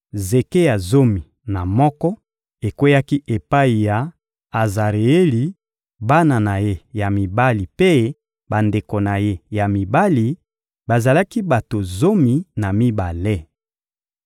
Zeke ya zomi na moko ekweyaki epai ya Azareeli, bana na ye ya mibali mpe bandeko na ye ya mibali: bazalaki bato zomi na mibale.